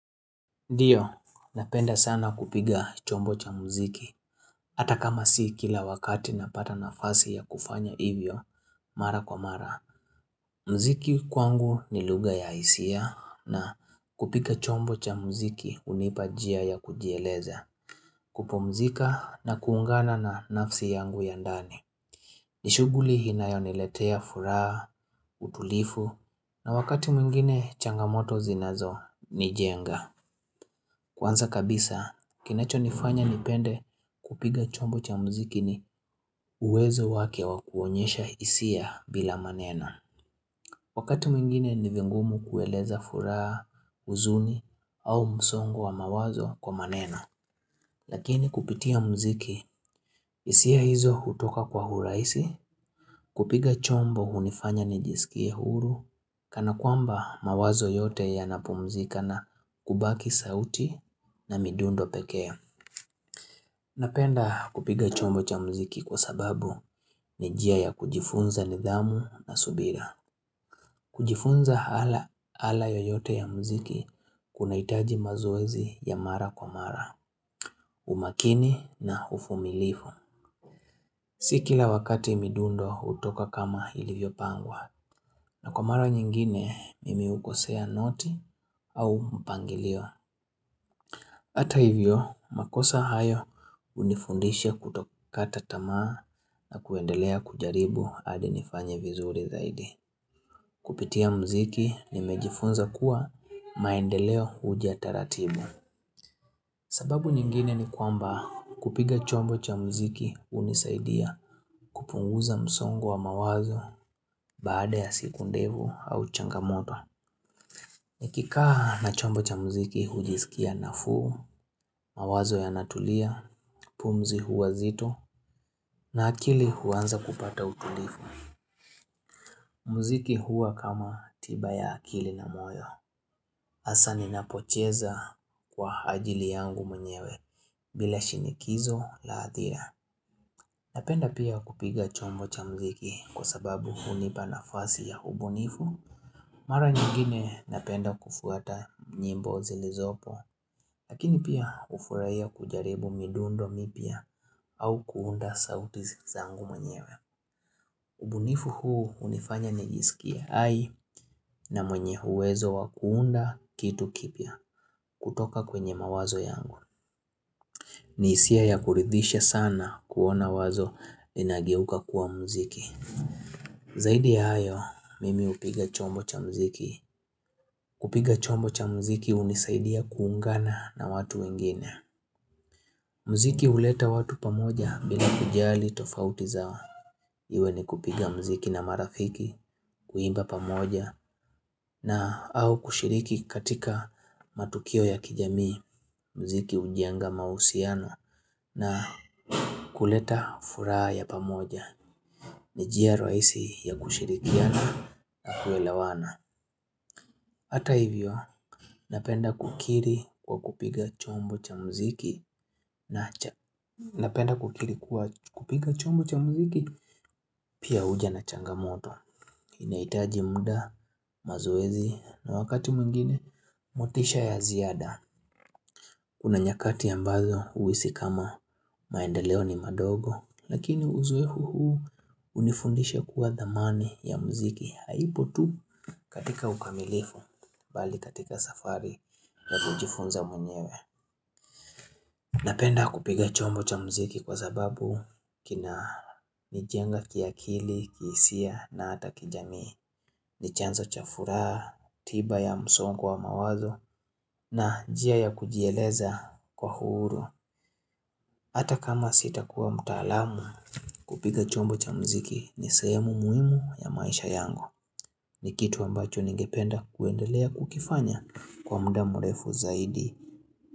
Ndio, napenda sana kupiga chombo cha mziki, ata kama si kila wakati napata nafasi ya kufanya hivyo, mara kwa mara. Mziki kwangu ni lugha ya hisia na kupika chombo cha mziki unipa njia ya kujieleza, kupumzika na kuungana na nafsi yangu ya ndani. Nishughuli inayoniletea furaha, utulifu, na wakati mwingine changamoto zinazo nijenga. Kwanza kabisa, kinacho nifanya nipende kupiga chombo cha mziki ni uwezo wake wa kuonyesha hisia bila maneno. Wakati mwingine ni vigumu kueleza furaha, huzuni au msongo wa mawazo kwa maneno. Lakini kupitia mziki hisia hizo hutoka kwa hurahisi, kupiga chombo hunifanya nijisikie uhuru, kana kwamba mawazo yote yanapumzika na kubaki sauti na midundo peke. Napenda kupiga chombo cha mziki kwa sababu ni njia ya kujifunza nidhamu na subira. Kujifunza hala yoyote ya mziki kunahitaji mazoezi ya mara kwa mara, umakini na uvumilivu. Si kila wakati midundo utoka kama ilivyo pangwa na kwa mara nyingine mimi ukosea noti au mpangilio. Ata hivyo, makosa hayo unifundisha kutokata tamaa na kuendelea kujaribu hadi nifanye vizuri zaidi. Kupitia mziki nimejifunza kuwa maendeleo uja taratibu. Sababu nyingine ni kwamba kupiga chombo cha mziki unisaidia kupunguza msongo wa mawazo baada ya siku ndefu au changamoto. Nikikaa na chombo cha mziki hujisikia nafuu, mawazo yanatulia, pumzi huwa zito na akili huanza kupata utulifu. Mziki huwa kama tiba ya akili na moyo. Hasa ninapocheza kwa ajili yangu mwenyewe bila shinikizo la athira. Napenda pia kupiga chombo cha mziki kwa sababu hunipa nafasi ya ubunifu. Mara nyingine napenda kufuata nyimbo zilizopo Lakini pia ufurahia kujaribu midundo mipya au kuunda sauti zangu mwenyewe ubunifu huu unifanya nijisikie hai na mwenye uwezo wa kuunda kitu kipya kutoka kwenye mawazo yangu ni hisia ya kuridhisha sana kuona wazo linageuka kuwa mziki Zaidi ya hayo mimi upiga chombo cha mziki kupiga chombo cha mziki unisaidia kuungana na watu wengine mziki uleta watu pamoja bila kujali tofauti zao Iwe ni kupiga mziki na marafiki kuimba pamoja na au kushiriki katika matukio ya kijamii. Mziki ujenga mahusiano na kuleta furaha ya pamoja ni njia rahisi ya kushirikiana na kuelewana. Hata hivyo, napenda kukiri kwa kupiga chombo cha mziki, pia huja na changamoto. Inaitaji muda, mazoezi, na wakati mwingine, motisha ya ziada. Kuna nyakati ambazo uhisi kama maendeleo ni madogo, lakini uzoefu huu unifundisha kuwa dhamani ya mziki. Haipo tu katika ukamilifu, bali katika safari ya kujifunza mwenyewe Napenda kupiga chombo cha mziki kwa sababu kinanijenga kiakili, kihisia na hata kijamii ni chanzo cha furaha, tiba ya msongo wa mawazo na njia ya kujieleza kwa uhuru Hata kama sitakuwa mtaalamu, kupiga chombo cha mziki ni sehemu muhimu ya maisha yangu ni kitu ambacho ningependa kuendelea kukifanya kwa mda mrefu zaidi.